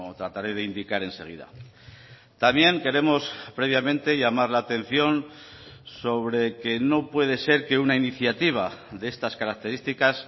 trataré de indicar enseguida también queremos previamente llamar la atención sobre que no puede ser que una iniciativa de estas características